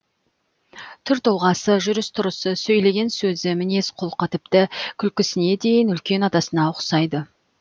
түр тұлғасы жүріс тұрысы сөйлеген сөзі мінез құлқы тіпті күлкісіне дейін үлкен атасына ұқсайды